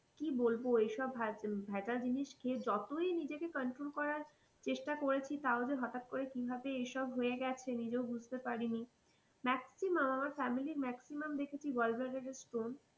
কি বলবো এই সব ভেজাল জিনিস খেয়ে যতই নিজেকে control করার চেষ্টা করেছি তাহলে হঠাৎ করে কি ভাবে এ সব হয়ে গেছে নিজে ও বুজতে পারি নি maximum আমার family maximum দেখেছি gallbladder stone